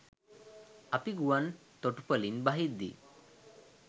අපි ගුවන් තොටුපොළින් බහිද්දී